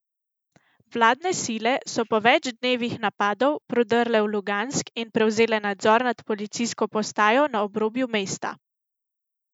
Vladne sile so po več dnevih napadov prodrle v Lugansk in prevzele nadzor nad policijsko postajo na obrobju mesta.